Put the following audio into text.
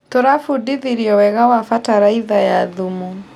Tũrabundithirio wega wa bataraitha ya thumu.